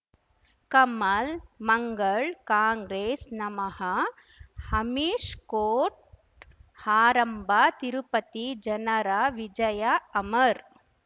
ಕಮಲ್ ಮಂಗಳ್ ಕಾಂಗ್ರೆಸ್ ನಮಃ ಹಮಿಷ್ ಕೋರ್ಟ್ ಹಾರಂಭ ತಿರುಪತಿ ಜನರ ವಿಜಯ ಅಮರ್